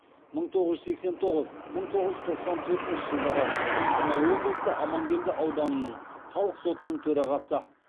мың тоғыз жүз сексен тоғыз мың тоғыз жүз тоқсан төртінші жылдары қостанай облысы амангелді ауданының халық сотының төрағасы